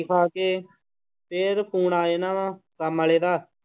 ਖਾ ਕੇ ਫਿਰ phone ਆ ਜਾਣਾ ਵਾਂ ਕੰਮ ਵਾਲੇ ਦਾ।